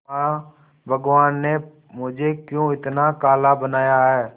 मां भगवान ने मुझे क्यों इतना काला बनाया है